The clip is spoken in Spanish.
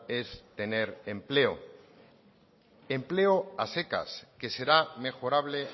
es tener empleo empleo a secas que será mejorable